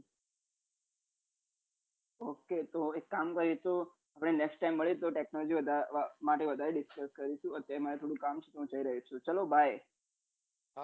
એતો એક કામ કરીશું આપડે next time મલીસુ technology માટે વધારે discuss કરીશું અત્યારે મરે થોડું કામ છે હું જઈ રહ્યો છું ચાલો bye